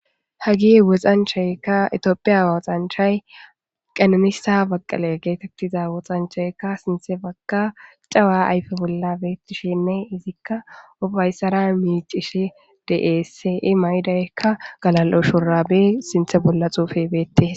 Haage woxanchayikka etioophiya woxanchay Qananissa Baqala geetettiza woxanchayika sinthe bagga caway ayife bolla beetishenne izikka uffayissara miicishe deessi. Mayidoyikka galal'o shurabe sinthe bolla xuufe beette.